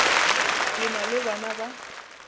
ke na le bana ba